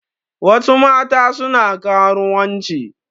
Wasu mata suna karuwanci.